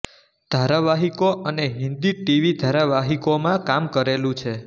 ધારાવાહિકો અને Hindi TV ધારાવાહિકોમાં કામ કરેલું છે